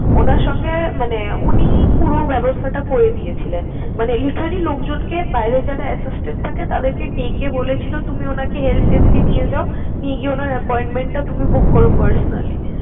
উনার সঙ্গে মানে উনি পুরো ব্যবস্থাটা করে দিয়েছিলেন। মানে literelly লোকজনকে বাইরে যারা assistant থাকে তাদেরকে ডেকে বলেছিল তুমি উনাকে help desk এ নিয়ে যাও, নিয়ে গিয়ে উনার appointment টা তুমি book করো personally ।